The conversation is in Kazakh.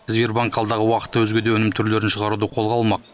сбербанк алдағы уақытта өзге де өнім түрлерін шығаруды қолға алмақ